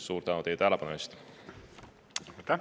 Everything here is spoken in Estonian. Suur tänu teile tähelepanu eest!